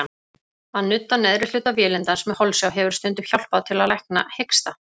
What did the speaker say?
Að nudda neðri hluta vélindans með holsjá hefur stundum hjálpað til að lækna hiksta.